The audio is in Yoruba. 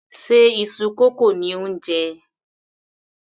Ṣe iṣu kókò ni ò ń jẹ?